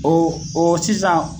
O o o sisan